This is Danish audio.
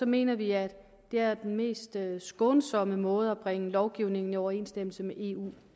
mener vi at det er den mest skånsomme måde at bringe lovgivningen i overensstemmelse med eu